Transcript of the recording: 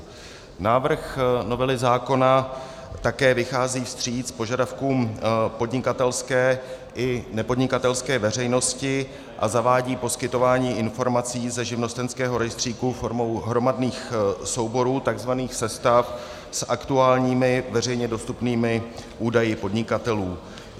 Návrh novely zákona také vychází vstříc požadavkům podnikatelské i nepodnikatelské veřejnosti a zavádí poskytování informací ze živnostenského rejstříku formou hromadných souborů, tzv. sestav, s aktuálními, veřejně dostupnými údaji podnikatelů.